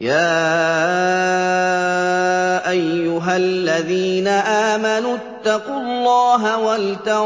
يَا أَيُّهَا الَّذِينَ آمَنُوا اتَّقُوا اللَّهَ وَلْتَنظُرْ